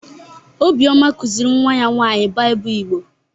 Obioma kuziri nwa ya nwaanyị Baịbụl Igbo.